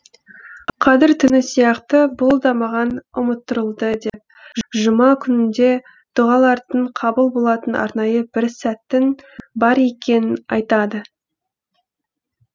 қадір түні сияқты бұл да маған ұмыттырылды деп жұма күнінде дұғалардың қабыл болатын арнайы бір сәттің бар екенін айтады